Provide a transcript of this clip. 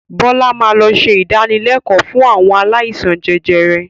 Bọlá máa lọ ṣe ìdánilẹ̀kọ̀ fún àwọn aláìsàn jẹjẹrẹ